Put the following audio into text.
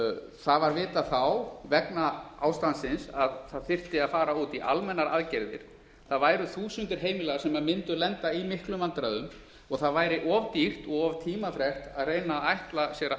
það var vitað þá vegna ástandsins að það þyrfti að fara út í almennar aðgerðir það væru þúsundir heimila sem mundu lenda í miklum vandræðum og það væri of dýrt og of tímafrekt að reyna að ætla sér að